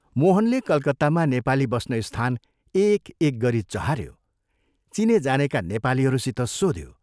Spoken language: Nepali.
मोहनले कलकत्तामा नेपाली बस्ने स्थान एक एक गरी चहाऱ्यो, चिनेजानेका नेपालीहरूसित सोध्यो।